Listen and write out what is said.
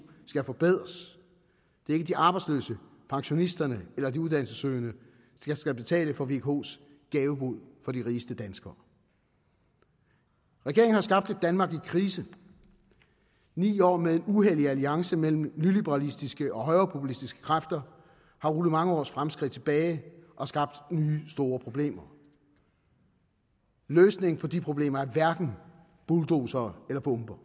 skal forbedres det er ikke de arbejdsløse pensionisterne eller de uddannelsessøgende der skal betale for vkos gavebod for de rigeste danskere regeringen har skabt et danmark i krise ni år med en uhellig alliance mellem nyliberalistiske og højrepopulistiske kræfter har rullet mange års fremskridt tilbage og skabt nye store problemer løsningen på de problemer er hverken bulldozere eller bomber